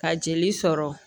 Ka jeli sɔrɔ